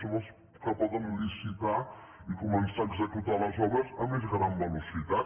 són els que poden licitar i començar a executar les obres a més gran velocitat